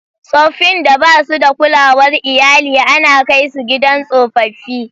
Tsoffin da ba su da kulawar iyali ana kai su gidan tsofaffi.